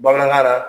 Bamanankan na